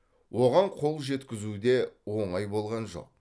оған қол жеткізу де оңай болған жоқ